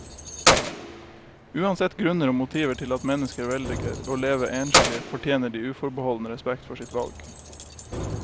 Uansett grunner og motiver til at mennesker velger å leve enslig, fortjener de uforbeholden respekt for sitt valg.